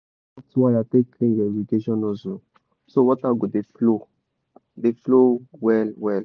use soft wire take clean your irrigation nozzle so water go dey flow dey flow well well.